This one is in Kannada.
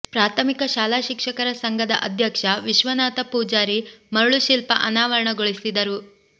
ಪ್ರಾಥಮಿಕ ಶಾಲಾ ಶಿಕ್ಷಕರ ಸಂಘದ ಅಧ್ಯಕ್ಷ ವಿಶ್ವನಾಥ ಪೂಜಾರಿ ಮರಳುಶಿಲ್ಪ ಅನಾವರಣಗೊಳಿಸಿದರು